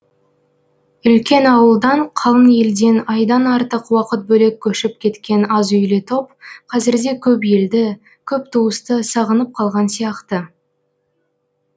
үлкен ауылдан қалың елден айдан артық уақыт бөлек көшіп кеткен аз үйлі топ қазірде көп елді көп туысты сағынып қалған сияқты